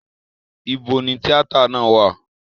Ibo ni tíátà náà wà?